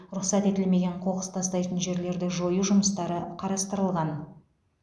рұқсат етілмеген қоқыс тастайтын жерлерді жою жұмыстары қарастырылған